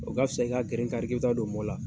O ka bisa, i ka geren kari k'i bi ta don mɔ la.